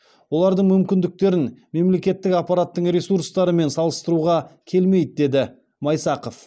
олардың мүмкіндіктерін мемлекеттік аппараттың ресурстарымен салыстыруға келмейді деді майсақов